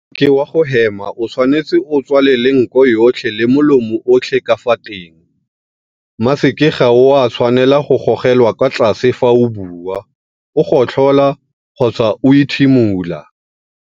Wa go hema o tshwanetse go tswalela nko yotlhe le molomo otlhe ka fa teng. Maseke ga o a tshwanelwa go gogelwa kwa tlase fa o bua, o gotlhola kgotsa o ethimola.